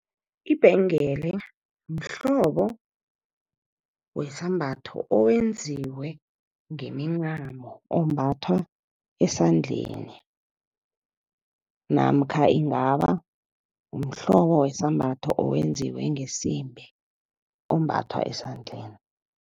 Ibhengele mhlobo wesambatho, owenziwe ngemincamo, ombathwa esandleni. Namkha ingaba mhlobo wesambatho, owenziwe ngesimbi, ombathwa esandleni.